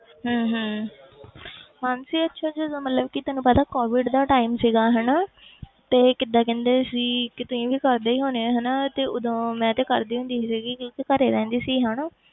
ਹਮ ਹਮ ਮਾਨਸੀ ਅੱਛਾ ਜਦੋਂ ਮਤਲਬ ਕਿ ਤੈਨੂੰ ਪਤਾ COVID ਦਾ time ਸੀਗਾ ਹਨਾ ਤੇ ਕਿੱਦਾਂ ਕਹਿੰਦੇ ਸੀ ਕਿ ਤੁਸੀਂ ਵੀ ਕਰਦੇ ਹੀ ਹੋਣੇ ਹੋ ਹਨਾ ਤੇ ਉਦੋਂ ਮੈਂ ਤੇ ਕਰਦੀ ਹੁੰਦੀ ਸੀਗੀ ਕਿਉਂਕਿ ਘਰੇ ਰਹਿੰਦੀ ਸੀ ਹਨਾ